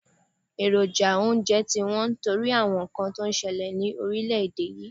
Èròjà oúnje ti wón nítorí àwon nkan to n selè ni orílé èdè yi